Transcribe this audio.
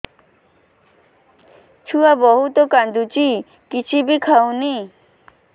ଛୁଆ ବହୁତ୍ କାନ୍ଦୁଚି କିଛିବି ଖାଉନି